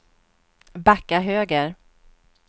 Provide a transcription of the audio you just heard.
backa höger